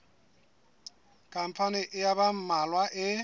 khampani ya ba mmalwa e